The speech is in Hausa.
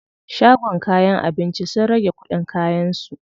Shagon kayan abinci sun rage kuɗin kayan su.